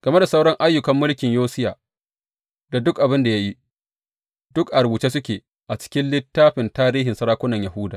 Game da sauran ayyukan mulkin Yosiya, da duk abin da ya yi, duk a rubuce suke a cikin littafin tarihin sarakunan Yahuda.